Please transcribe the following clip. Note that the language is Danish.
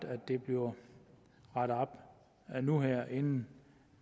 at det bliver rettet op nu her inden